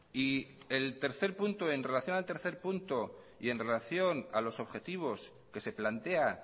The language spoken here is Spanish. y el tercer punto en relación al tercer punto y en relación a los objetivos que se plantea